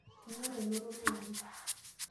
Inyorr elototo oleng.